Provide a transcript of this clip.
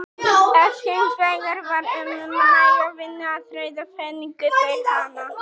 Ef hins vegar var um næga vinnu að ræða fengu þeir hana.